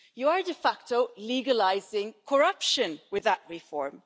You are de facto legalising corruption with that reform.